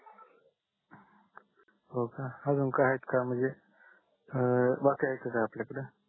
हो का अजून काही आहेत का म्हणजे अं बाकी आहेत का काही आपल्या कड